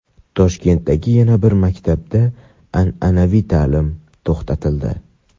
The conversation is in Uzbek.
Toshkentdagi yana bir maktabda an’anaviy ta’lim to‘xtatildi.